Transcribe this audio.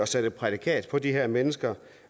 sætte et prædikat på de her mennesker